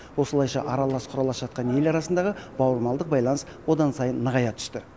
осылайша аралас құралас жатқан ел арасындағы бауырмалдық байланыс одан сайын нығая түсті